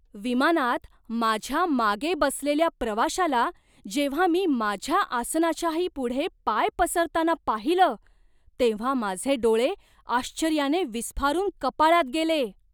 विमानात माझ्या मागे बसलेल्या प्रवाशाला जेव्हा मी माझ्या आसनाच्याही पुढे पाय पसरताना पाहिलं तेव्हा माझे डोळे आश्चर्याने विस्फारून कपाळात गेले.